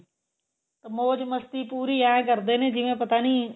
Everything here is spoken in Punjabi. ਮੋਜ ਮਸਤੀ ਪੂਰੀ ਐਵੇਂ ਕਰਦੇ ਨੇ ਜਿਵੇਂ ਪਤਾ ਨਹੀਂ